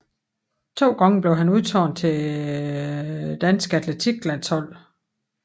To gange blev han udtaget til det danske atletik landshold